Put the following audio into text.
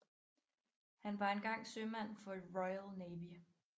Han var engang sømand for Royal Navy